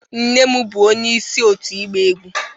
Nne m bụ onyeisi òtù ịgba egwú